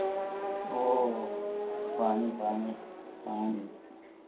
oh funny funny funny